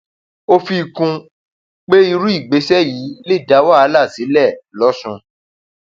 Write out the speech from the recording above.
ó um fi kún un pé irú ìgbésẹ yìí lè dá wàhálà um sílẹ lọsùn